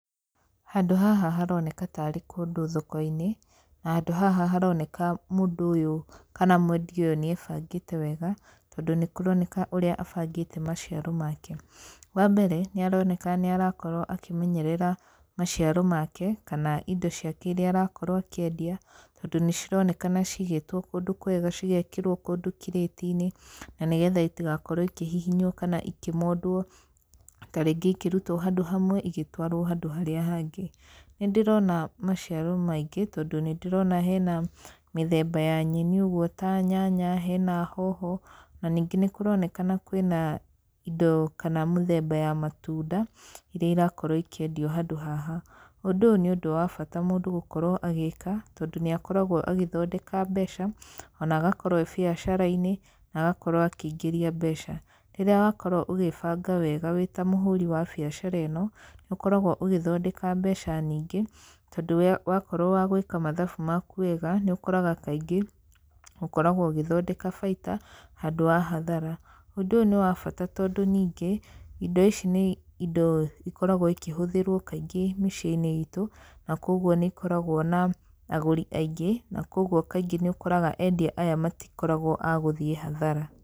Handũ haha haroneka tarĩ kũndũ thoko-inĩ, na handũ haha haroneka mũndũ ũyũ kana mwendia ũyũ nĩ ebangĩte wega, tondũ nĩ kũroneka ũrĩa abangĩte maciaro make. Wa mbere, nĩ aroneka nĩ arakorwo akĩmenyerera maciaro make, kana indo ciake irĩa arakorwo akĩendia, tondũ nĩ cironekana cigĩtwo kũndũ kwega, cigekĩrwo kũndũ kirĩti-inĩ, na nĩgetha itigakorwo ikĩhihinywo kana ikĩmondwo tarĩngĩ ikĩrutwo handũ hamwe igĩtwarwo handũ harĩa hangĩ. Nĩ ndĩrona maciaro maingĩ, tondũ nĩ ndĩrona hena mĩthemba ya nyeni ũguo ta nyanya, hena hoho, na ningĩ nĩ kũronekana kwĩna indo kana mũthemba ya matunda, irĩa irakorwo ikĩendio handũ haha. Ũndũ ũyũ nĩ ũndũ wa bata mũndũ gũkorwo agĩka, tondũ nĩ akoragwo agĩthondeka mbeca, ona agakorwo ee biacara-inĩ, na agakorwo akĩingĩria mbeca. Rĩrĩa wakorwo ũgĩbanga wega wĩ ta mũhũri wa biacara ĩno, nĩ ũkoragwo ũgĩthondeka mbeca nyingĩ, tondũ wakorwo wa gwĩka mathabu maku wega, nĩ ũkoraga kaingĩ, ũkoragwo ũgĩthondeka baita, handũ wa hathara. Ũndũ ũyũ nĩ wa bata tondũ ningĩ, indo ici nĩ indo ikoragwo ikĩhũthĩrwo kaingĩ mĩciĩ-inĩ itũ, na kũguo nĩ ikoragwo na agũri aingĩ, na kũguo kaingĩ nĩ ũkoraga endia aya matikoragwo a gũthiĩ hathara.